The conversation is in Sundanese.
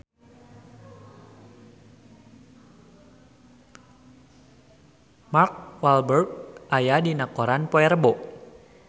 Mark Walberg aya dina koran poe Rebo